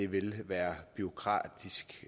vil være bureaukratisk